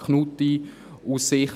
Knutti: Aus Sicht